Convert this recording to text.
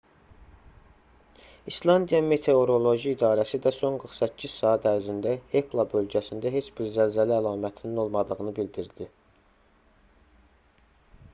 i̇slandiya meteoroloji i̇darəsi də son 48 saat ərzində hekla bölgəsində heç bir zəlzələ əlamətinin olmadığını bildirdi